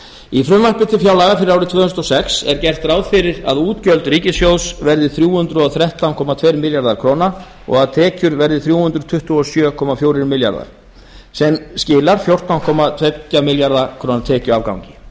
í frumvarpi til fjárlaga fyrir árið tvö þúsund og sex er gert ráð fyrir að útgjöld ríkissjóðs verði þrjú hundruð og þrettán komma tveir milljarðar króna og að tekjur verði þrjú hundruð tuttugu og sjö komma fjórir milljarðar króna sem skilar fjórtán komma tvo milljarða króna tekjuafgangi